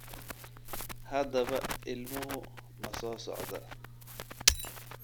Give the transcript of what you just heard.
Haddaba, ilmuhu ma soo socdaa?